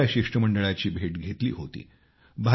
मी त्या शिष्टमंडळाची भेट घेतली होती